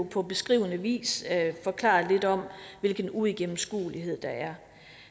på beskrivende vis forklaret lidt om hvilken uigennemskuelighed der er